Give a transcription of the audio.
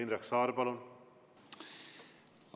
Indrek Saar, palun!